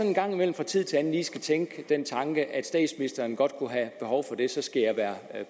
en gang imellem fra tid til anden lige skal tænke den tanke at statsministeren godt kunne have behov for det og så skal jeg være